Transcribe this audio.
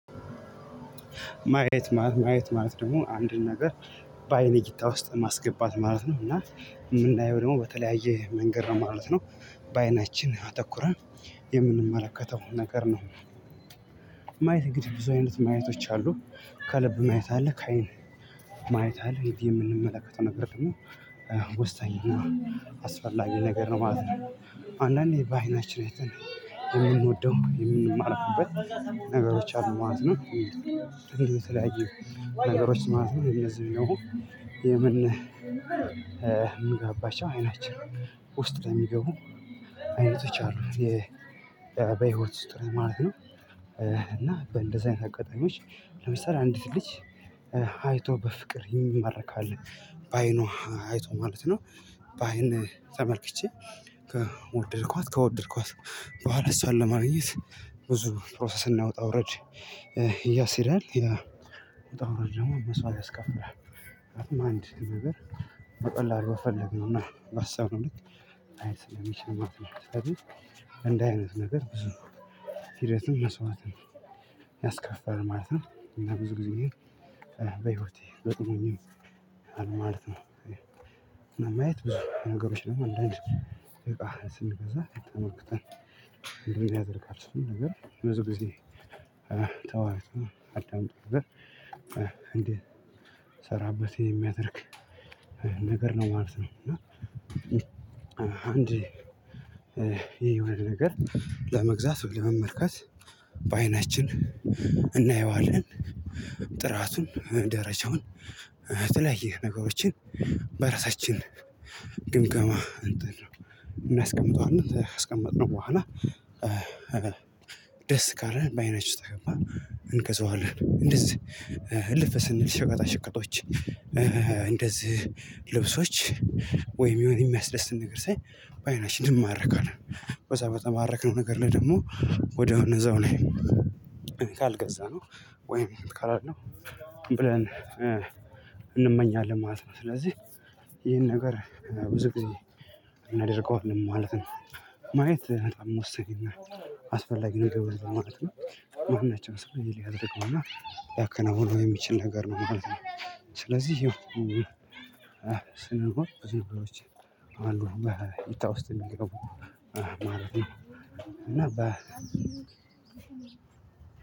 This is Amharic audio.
ማየት ማለት ማየት ማለት ደግሞ አንድን ነገር በአይን እይታ ውስጥ ማስገባት ማለት ነው። እና የምናየው ደግሞ በተለያየ መንገድ ነው ማለት ነው። በዓይናችን አተኩረን የምንመለከተው ነገር ነው። ማየት እንግዲህ ብዙ አይነት ማየቶች አሉ ከልብ ማየት አለ ከአይን ማየት አለ። ይህ የምንመለከተው ነገር ደግሞ ወሳኝና አስፈላጊ ነገር ነው ማለት ነው። አንዳንዴ በዓይናችን አይተን የምንወደው የምንማረክበት ነገሮች አሉ ማለት ነው። እንዲህ የተለያዩ ነገሮች ማለት ነው። የነዚህን ደግሞ የምንገባባቸው አይናችን ውስጥ ለሚገቡ አይነቶች አሉ። በህይወት ውስጥ ማለት ነው። እና በእንደዚህ አይነት አጋጣሚዎች ለምሳሌ አንዲትን ልጅ አይቶ በፍቅር የሚማረክ አለ። በዓይኑ አይቶ ማለት ነው። በአይን ተመልክቼ ከወደድኳት ከወደድኳት በኋላ እሷን ለማግኘት ብዙ ፕሮሰስ እና ውጣ ውረድ ያስሄዳል። ያ ውጣ ውረድ ደግሞ መስዋዕት ያስከፍላል። ምክንያቱም አንድ ነገር በቀላሉ በፈለግነው እና ባሰብነው ልክ ላይሄድ ስለሚችል ማለት ነው። ስለዚህ እንዲህ አይነት ነገር ብዙ ሂደትም መስዋዕትም ያስከፍላል ማለት ነው። እና ብዙ ጊዜየን በህይወቴ በዘመኔ ይሆናል ማለት ነው። ነው ማየት ብዙ ነገሮች ደግሞ አንዳንድ እቃ ስንገዛ ተመልክተን ድርጊት ያደርጋል ስሙ ነገር በዚህ ጊዜ ተዋህዶ አልታምጡም እንዴት እንድሰራበት የሚያደርግ ነገር ነው ማለት ነው። እና አንዴ የሆነ ነገር ለመግዛት ወይም ለመመልከት በዓይናችን እናየዋለን። ጥራቱን፣ ደረጃውን የተለያየ ነገሮችን በራሳችን ግምገማ እንትን ነው። እናስቀምጠዋለን። ካስቀመጥነው በኋላ ደስ ካለን በአይናችን ውስጥ ከገባ እንገዛዋለን። እንደዚህ እልፍ ስንል ሸቃጣ ሽቀጦች እንደዚህ ልብሶች ወይም የሆነ የሚያስደስት ነገር ሳይ በዓይናችን እንማረካለን። በዛ በተማረክነው ነገር ላይ ደግሞ ወዲያውን እዛው ላይ ካልገዛነው ወይም እንትን ካላልነው ብለን እንመኛለን ማለት ነው። ስለዚህ ይህን ነገር ብዙ ጊዜ እናደርገዋለን ማለት ነው። ማየት በጣም ወሳኝና አስፈላጊ ነገር ነው ማለት ነው። ማናቸውም ሰው ሊያደርገው እና ሊያከናውነው የሚችል ነገር ነው ማለት ነው። ስለዚህ ስንል ብዙ ነገሮች አሉ በእይታ ውስጥ የሚገቡ ማለት ነው። እና በ